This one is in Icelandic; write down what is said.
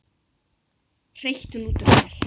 hreytti hún út úr sér.